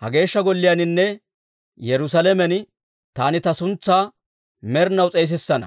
ha Geeshsha Golliyaaninne Yerusaalamen taani ta suntsaa med'inaw s'eesissana.